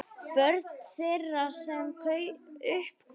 Börn þeirra, sem upp komust